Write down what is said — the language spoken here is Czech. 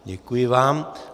Děkuji vám.